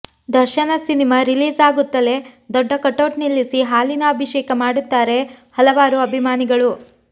ದರ್ಶನ cinema release ಆಗುತ್ತಲೇ ದೊಡ್ಡ ಕಟೌಟ್ ನಿಲ್ಲಿಸಿ ಹಾಲಿನ ಅಭಿಷೇಕ ಮಾಡುತ್ತಾರೆ ಹಲವಾರು ಅಭಿಮಾನಿಗಳು